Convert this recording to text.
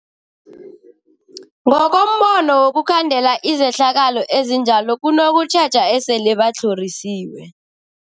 Ngokombono wokhandela izehlakalo ezinjalo kunokutjheja esele batlhorisiwe.